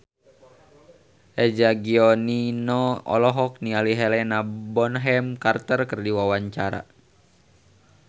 Eza Gionino olohok ningali Helena Bonham Carter keur diwawancara